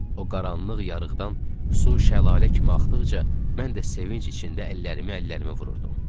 O qaranlıq yarıqdan su şəlalə kimi axdıqca mən də sevinc içində əllərimi əllərimə vururdum.